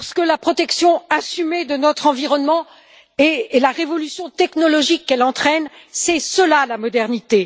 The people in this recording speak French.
La protection assumée de notre environnement et la révolution technologique qu'elle entraîne, c'est cela la modernité.